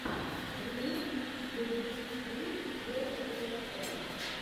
ремикс зэ биг фриз ворлд оф тэнкс